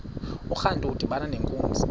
urantu udibana nenkunzi